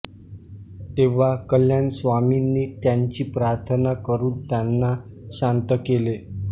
तेव्हा कल्याण स्वामींनी त्यांची प्रार्थना करून त्यांना शांत केले